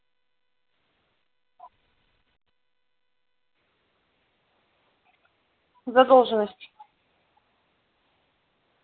задолженность